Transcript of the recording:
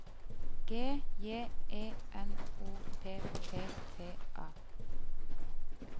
G J E N O P P T A